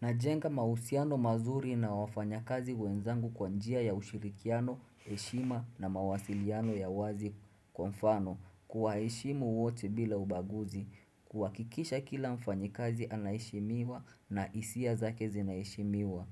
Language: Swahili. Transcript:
Najenga mahusiano mazuri na wafanyakazi wenzangu kwa njia ya ushirikiano, heshima na mawasiliano ya wazi. Kwa mfano, kuwaheshimu wote bila ubaguzi, kuhakikisha kila mfanyikazi anaheshimiwa na hisia zake zinaheshimiwa.